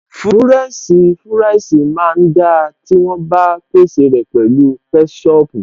Fúrẹ́ǹṣì fúráìsì máa ń da tí wọ́n bá pèsè rẹ̀ pẹ̀lú kẹ́ṣọpù